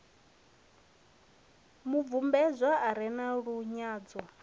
mubvumbedzwa a re na lunyadzo